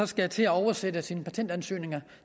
skal til at oversætte sin patentansøgning